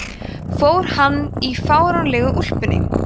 fór hann í fáránlegu úlpunni